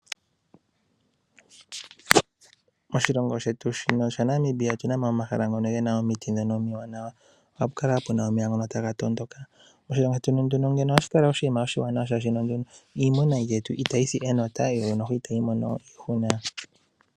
Oshilongo shetu shino shaNamibia oshina omahala ngono gena omiti dhono omiwanawa, ohapu kala wo pena omeya ngoka taga tondoka oshilongo shetu ngeno ohashi kala oshinima oshiwanawa, molwashono iimuna yetu itayi si enota yo ishewe itayi mono iihuna.